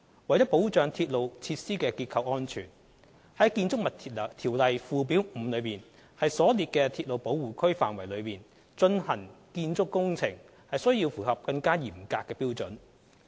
為保障鐵路設施的結構安全，於《建築物條例》附表5所列的鐵路保護區範圍內進行建築工程須符合更嚴格的標準。